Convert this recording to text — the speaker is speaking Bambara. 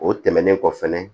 O tɛmɛnen kɔfɛ fɛnɛ